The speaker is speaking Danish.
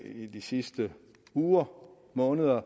i de sidste uger og måneder